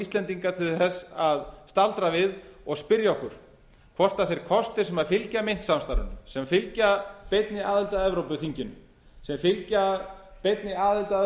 íslendinga að staldra við og spyrja okkur hvort þeir kostir sem fylgja myntsamstarfinu sem fylgja beinni aðild að evrópuþinginu sem fylgja beinni aðild að